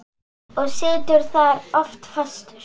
Og situr þar oft fastur.